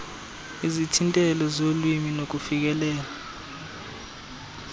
izithintelo zolwimi nokufikelela